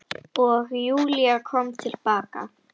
Og Júlía kom til baka.